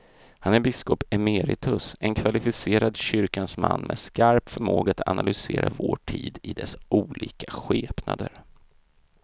Han är biskop emeritus, en kvalificerad kyrkans man med skarp förmåga att analysera vår tid i dess olika skepnader.